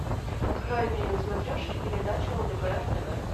открой мне на смотрешке передачу лдпр тв